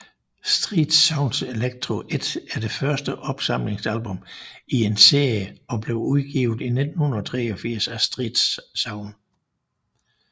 Street Sounds Electro 1 er det første opsamlingsalbum i en serie og blev udgivet i 1983 af StreetSounds